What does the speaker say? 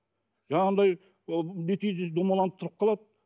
жаңағындай ол бүйтейін десем домаланып тұрып қалады